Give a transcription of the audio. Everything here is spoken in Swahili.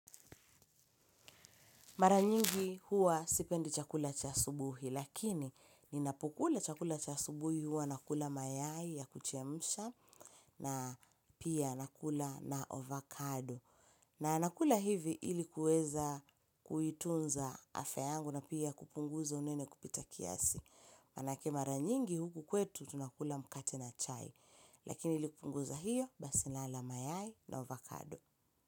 Mara nyingi huwa sipendi chakula cha asubuhi, lakini ninapokula chakula cha asubuhi huwa nakula mayai ya kuchemsha na pia nakula na ovakado. Na nakula hivi ili kuweza kuitunza afya yangu na pia kupunguza unene kupita kiasi. Manake mara nyingi huku kwetu tunakula mkate na chai, lakini ili kupunguza hiyo basi nala mayai na ovakado.